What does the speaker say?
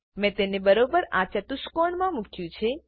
મેં તેને બરોબર આ ચતુષ્કોણમાં મુક્યું છે